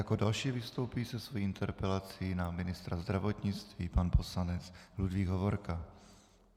Jako další vystoupí se svou interpelací na ministra zdravotnictví pan poslanec Ludvík Hovorka.